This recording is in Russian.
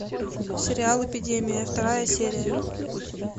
сериал эпидемия вторая серия